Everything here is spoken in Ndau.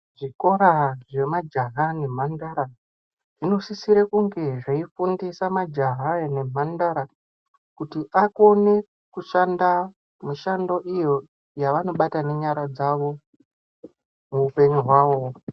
Zvikora zvemajaha nemhandara, zvinosisira kunge zveifundisa majaha nemhandara kuti akone kushanda mishando iyo yavanobata nenyara dzavo muupenyu hwawo.